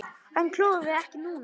Hann klórar ekki núna.